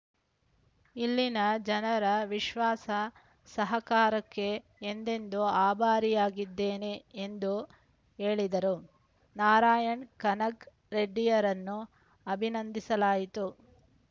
ಇಲ್ಲಿನ ಜನರ ವಿಶ್ವಾಸ ಸಹಕಾರಕ್ಕೆ ಎಂದೆಂದು ಅಭಾರಿಯಾಗಿದ್ದೇನೆ ಎಂದು ಹೇಳಿದರು ನಾರಾಯಣ ಕನಕ ರೆಡ್ಡಿರನ್ನು ಅಭಿನಂದಿಸಲಾಯಿತು